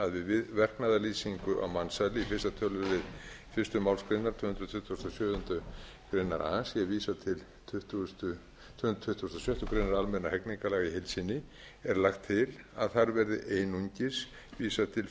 við verknaðarlýsingu á mansali í fyrsta tölulið fyrstu málsgrein tvö hundruð tuttugu og sjö greinar a sé vísað til tvö hundruð tuttugustu og sjöttu grein almennra hegningarlaga í heild sinni er lagt til að þar verði einungis vísað til